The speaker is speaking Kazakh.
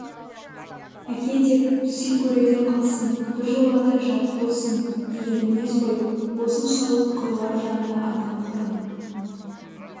әке деп сый көруден қалсын біржолата жат болсын деген мінез ғой осыншалық қыруар жанды адам құрым